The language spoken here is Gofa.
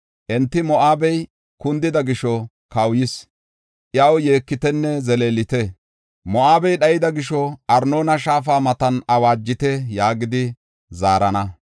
Enti, ‘Moo7abey kundida gisho kawuyis; iyaw yeekitenne zeleelite. Moo7abe dhaydaysa gisho Arnoona shaafa matan awaajite’ ” yaagidi zaarana.